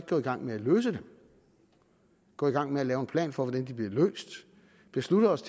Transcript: gå i gang med at løse dem gå i gang med at lave en plan for hvordan de bliver løst beslutte os